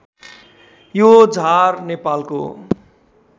यो झार नेपालको